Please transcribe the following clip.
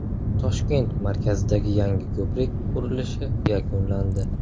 Toshkent markazidagi yangi ko‘prik qurilishi yakunlandi.